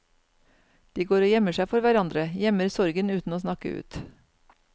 De går og gjemmer seg for hverandre, gjemmer sorgen uten å snakke ut.